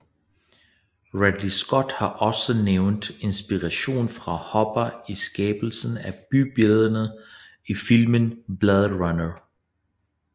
Ridley Scott har også nævnt inspiration fra Hopper i skabelsen af bybillederne i filmen Blade Runner